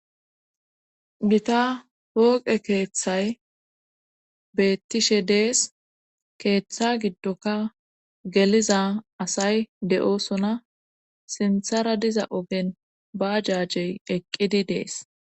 gita pooqe keeththay beettishe dees keeththa giddoka geliza asay de'osona sinthara diza ogen bajajey eqqidi dees